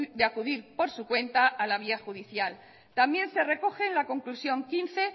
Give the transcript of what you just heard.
de acudir por su cuenta a la vía judicial también se recoge en la conclusión quince